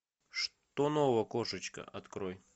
что нового кошечка открой